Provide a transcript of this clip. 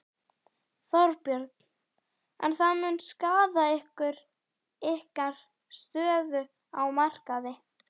Þorbjörn: En það mun skaða ykkur, ykkar stöðu á markaði?